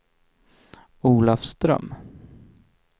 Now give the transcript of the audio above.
Olafström